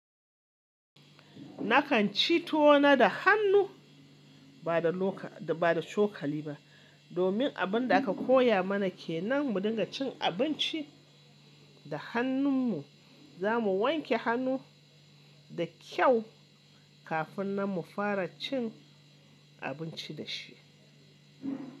Nakan ci tuwo na da hannu ba da loka da ba da cokali ba. Domin abin da aka koya mana kenan mu dinga cin abinci da hannun mu. Za mu wanke hannu da kyau kafin nan mu fara cin abinci da shi.